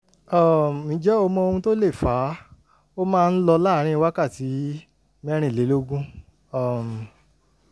um ǹjẹ́ o mọ ohun tó lè fà á? ó máa ń lọ láàárín wákàtí mẹ́rìnlélógún um